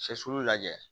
Sɛsulu lajɛ